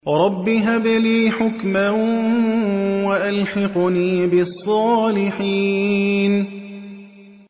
رَبِّ هَبْ لِي حُكْمًا وَأَلْحِقْنِي بِالصَّالِحِينَ